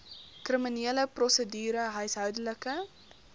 kriminele prosedure huishoudelike